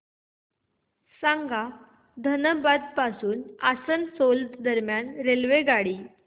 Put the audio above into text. सांगा धनबाद पासून आसनसोल दरम्यान आगगाडी